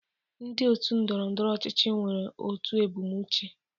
Ndị otu ndọrọ ndọrọ ọchịchị nwere otu ebumnuche.